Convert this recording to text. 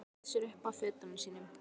Hallaði sér upp að fötunum sínum.